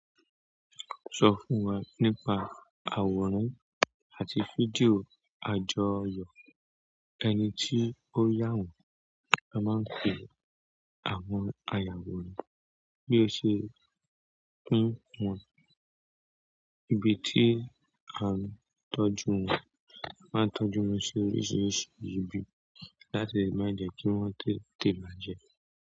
Sọ fún wa nípa àwòrán àti fídíò àjọyọ̀. Ẹni tí ó yà wọ́n, a máa ń pèé àwọn ayàwòrán. Bí o ṣe máa ń sọ ìbí tí à n tọ́jú wọn. A máa ń tọ́jú wọn sí oríṣìíríṣìí ibi, láti lè má jẹ́ kí wọ́n tètè bàjẹ́.